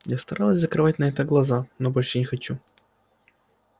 я старалась закрывать на это глаза но больше не хочу